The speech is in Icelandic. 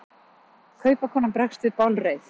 Kaupakonan bregst við bálreið.